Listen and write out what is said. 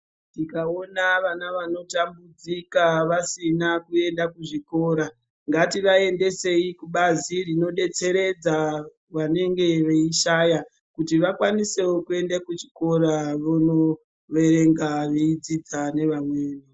Tikaiona vana vanotambudzika vasina kuenda kuzvikora ngativaendesei kubazi rinodetseredza vanenge veishaya kuti akwanisewo kuenda kuchikora vonoverenga veidzidza nevamweni.